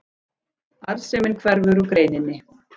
Arðsemin hverfur úr greininni